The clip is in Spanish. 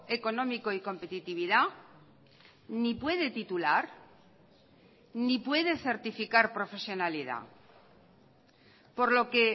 económico y competitividad ni puede titular ni puede certificar profesionalidad por lo que